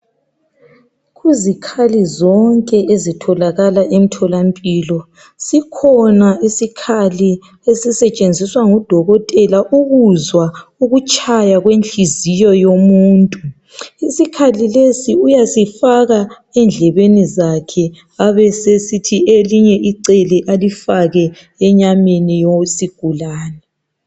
kuzikhali zonke ezitholakala emtholampilo sikhona isikhali esisetshenziswa ngudokotela ukuzwa ukutshaya kwenhliziyo yomuntu isikhali lesi uyasifaka endlebeni zakhe abesesithi elinye icele alifake enyameni yesigulane